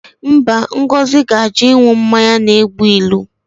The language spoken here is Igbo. Mba, Ngozi ga-ajụ ịṅụ mmanya na-egbu ilu